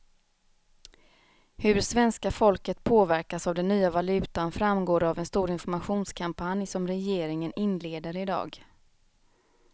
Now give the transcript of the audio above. Hur svenska folket påverkas av den nya valutan framgår av en stor informationskampanj som regeringen inleder i dag.